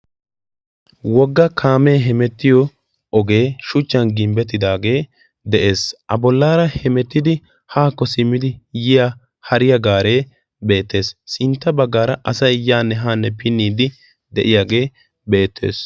Wogga kaamee hemettiyo ogee shuchchan gimbbettidaagee de'ees. a bollaara hemettidi haakko simmidi yiya hariya gaaree beettees sintta baggaara asai yaa ne haanne pinniiddi de'iyaagee beettees.